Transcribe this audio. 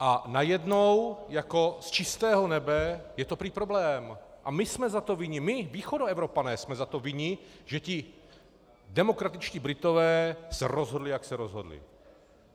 A najednou jako z čistého nebe je to prý problém a my jsme za to vinni, my, Východoevropané jsme za to vinni, že ti demokratičtí Britové se rozhodli, jak se rozhodli.